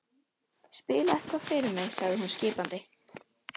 Spilaðu eitthvað fyrir mig sagði hún skipandi.